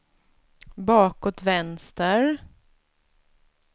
bakåt vänster